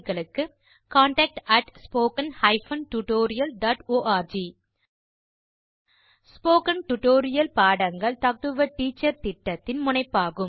contact at spoken hyphen tutorial dot org spoken tutorial பாடங்கள் talk to a teacher திட்டத்தின் முனைப்பாகும்